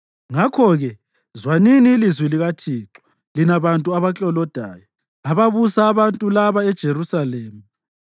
Ngakho-ke zwanini ilizwi likaThixo lina bantu abaklolodayo, ababusa abantu laba eJerusalema.